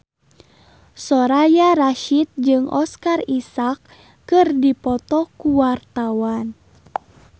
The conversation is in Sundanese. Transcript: Soraya Rasyid jeung Oscar Isaac keur dipoto ku wartawan